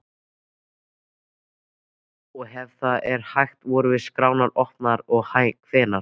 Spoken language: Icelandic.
Og ef það er hægt, voru skrárnar opnaðar og hvenær?